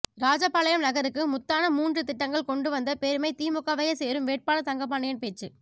ராஜபாளையம் நகருக்கு முத்தான மூன்று திட்டங்கள் கொண்டு வந்த பெருமை திமுகவையே சேரும் வேட்பாளர் தங்கப்பாண்டியன் பேச்சு